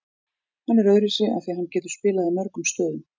Hann er öðruvísi af því að hann getur spilað í mörgum stöðum.